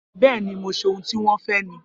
Bẹẹni, mó ṣe òhun tí wọn fẹ ni